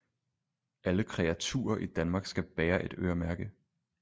Alle kreaturer i danmark skal bære et øremærke